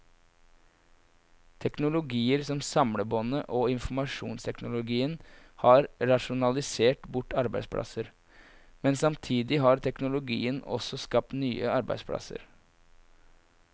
Teknologier som samlebåndet og informasjonsteknologien har rasjonalisert bort arbeidsplasser, men samtidig har teknologiene også skapt nye arbeidsplasser.